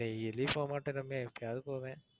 daily போகமாட்டேன் ரம்யா எப்பையாவது போவேன்.